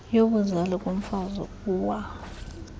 yobuzali kumfazi uwa